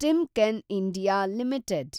Timken India limited